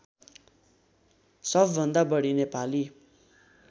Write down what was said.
सबभन्दा बढी नेपाली